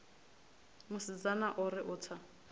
musidzana o ri u tsa